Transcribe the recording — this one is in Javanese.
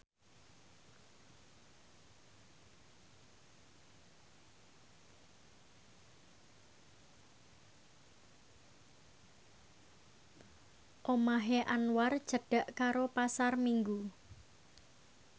omahe Anwar cedhak karo Pasar Minggu